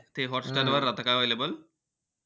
ते हॉटस्टारवर राहता का available?